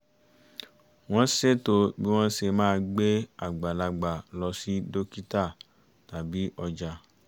wọ́n ṣètò bí wọ́n ṣe máa gbé àgbàlagbà lọ sí dókítà tàbí ọjà